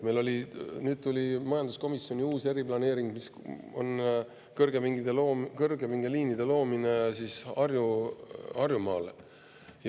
Meil tuli majanduskomisjoni uus eriplaneering kõrgepingeliinide loomiseks Harjumaale.